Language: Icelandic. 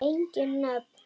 Engin nöfn.